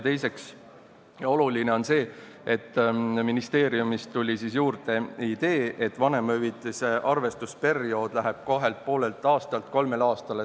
Teiseks on oluline see, et ministeeriumist tuli juurde idee, et vanemahüvitise arvestusperiood läheb kahelt ja poolelt aastalt kolmele aastale.